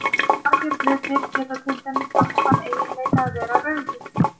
Margir hlutir geta til dæmis haft þann eiginleika að vera rauður.